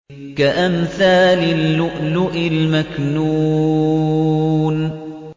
كَأَمْثَالِ اللُّؤْلُؤِ الْمَكْنُونِ